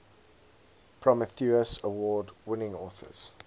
prometheus award winning authors